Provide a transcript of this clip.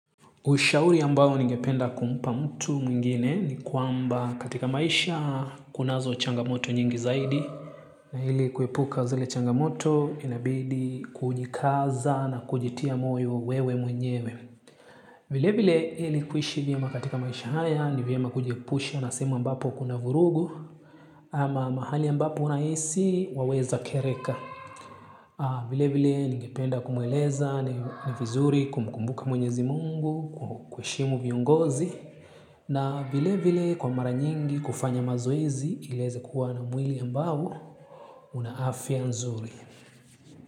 Ushauri ambao ningependa kumpa mtu mwingine ni kwamba katika maisha kunazo changamoto nyingi zaidi. Na hili kuepuka zele changamoto inabidi kujikaza na kujitia moyo wewe mwenyewe. Vile vile hili kuishi vyema katika maisha haya ni viyama kujepusha na sema ambapo kuna vurugu ama mahali mbapo unaisi waweza kereka. Vile vile ningependa kumueleza na vizuri kumkumbuka mwenyezi mungu kuheshimu viongozi na vile vile kwa mara nyingi kufanya mazoezi ilize kuwa na mwili ambaho una afya nzuri.